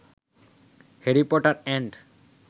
Harry Potter and